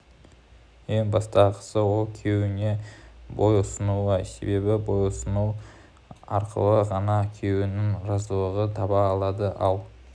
ең басты ақысы ол күйеуіне бойұсынуы себебі бойұсыну арқылы ғана күйеуінің разылығын таба алады ал